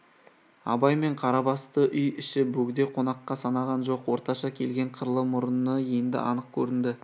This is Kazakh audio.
абай мен қарабасты үй іші бөгде қонаққа санаған жоқ орташа келген қырлы мұрыны енді анық көрінді